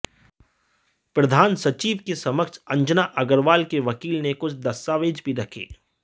प्रधान सचिव के समक्ष अंजना अग्रवाल के वकील ने कुछ दस्तावेज भी रखे